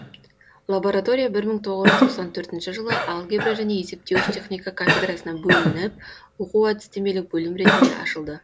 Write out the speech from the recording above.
лаборатория бір мың тоғыз жүз тоқсан төртінші жылы алгебра және есептеуіш техника кафедрасынан бөлініп оқу әдістемелік бөлім ретінде ашылды